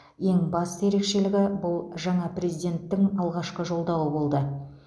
ең басты ерекшелігі бұл жаңа президенттің алғашқы жолдауы болды